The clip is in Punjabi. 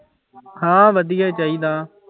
ਹਾਂ ਵਧੀਆ ਚਾਹੀਦਾ।